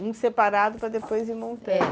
Um separado para depois ir montando, é.